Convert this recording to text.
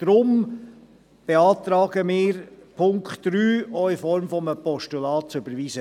Deshalb beantragen wir, Punkt 3 auch in Form eines Postulats zu überweisen.